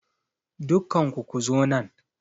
Dukkanku ku zo nan!